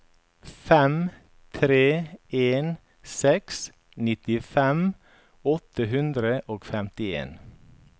fem tre en seks nittifem åtte hundre og femtien